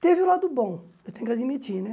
Teve o lado bom, eu tenho que admitir, né?